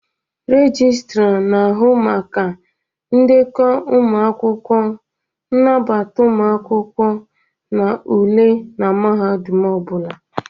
Registra na-ahụ maka ndekọ ụmụ akwụkwọ, nnabata ụmụ akwụkwọ na ule na mahadum ọ bụla.